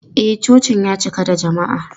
E, cocin ya cika da jama'a.